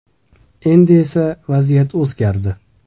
Endi esa vaziyat o‘zgardi.